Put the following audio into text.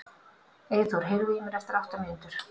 Eyþór, heyrðu í mér eftir átta mínútur.